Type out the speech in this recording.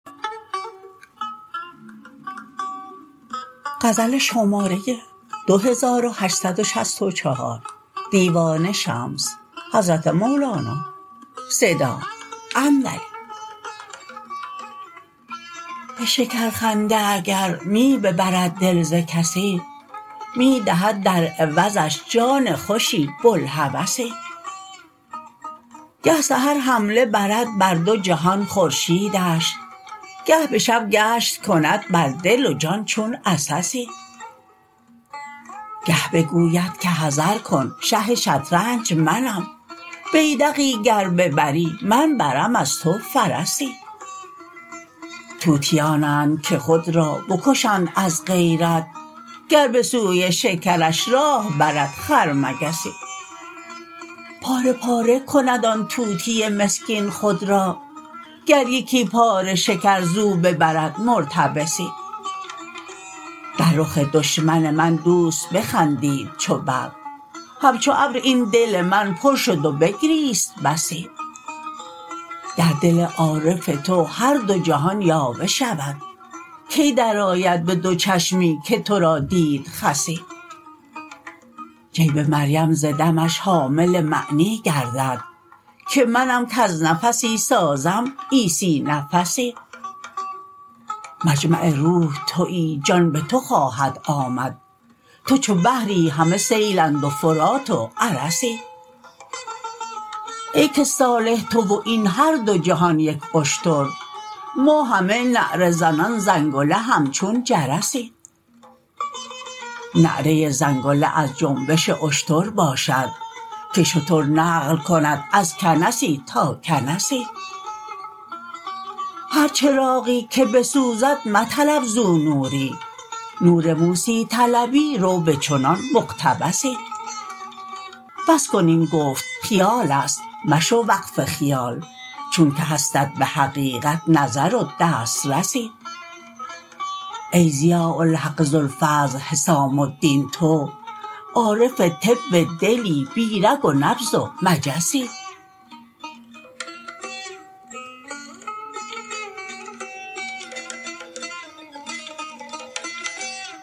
به شکرخنده اگر می ببرد دل ز کسی می دهد در عوضش جان خوشی بوالهوسی گه سحر حمله برد بر دو جهان خورشیدش گه به شب گشت کند بر دل و جان چون عسسی گه بگوید که حذر کن شه شطرنج منم بیدقی گر ببری من برم از تو فرسی طوطیانند که خود را بکشند از غیرت گر به سوی شکرش راه برد خرمگسی پاره پاره کند آن طوطی مسکین خود را گر یکی پاره شکر زو ببرد مرتبسی در رخ دشمن من دوست بخندید چو برق همچو ابر این دل من پر شد و بگریست بسی در دل عارف تو هر دو جهان یاوه شود کی درآید به دو چشمی که تو را دید خسی جیب مریم ز دمش حامل معنی گردد که منم کز نفسی سازم عیسی نفسی مجمع روح توی جان به تو خواهد آمد تو چو بحری همه سیل اند و فرات و ارسی ای که صالح تو و این هر دو جهان یک اشتر ما همه نعره زنان زنگله همچون جرسی نعره زنگله از جنبش اشتر باشد که شتر نقل کند از کنسی تا کنسی هر چراغی که بسوزد مطلب زو نوری نور موسی طلبی رو به چنان مقتبسی بس کن این گفت خیال است مشو وقف خیال چونک هستت به حقیقت نظر و دسترسی ای ضیاء الحق ذوالفضل حسام الدین تو عارف طب دلی بی رگ و نبض و مجسی